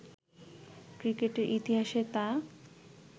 ক্রিকেটের ইতিহাসে তা